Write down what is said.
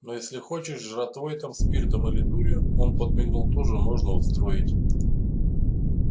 но если хочешь жратвой там спиртом или дурью он подмигнул тоже можно устроить